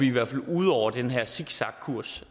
i hvert fald ude over den her zigzagkurs